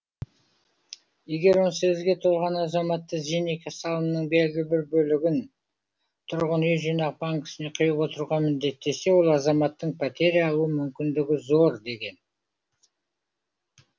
егер он сегізге толған азаматты зейнеке салымының белгілі бір бөлігін тұрғын үй жинақ банкіне құйып отыруға міндеттесе ол азаматтың пәтер алу мүмкіндігі зор деген